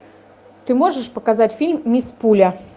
ты можешь показать фильм мисс пуля